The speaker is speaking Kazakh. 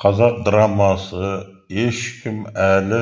қазақ драмасы ешкім әлі